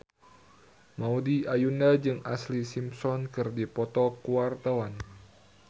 Maudy Ayunda jeung Ashlee Simpson keur dipoto ku wartawan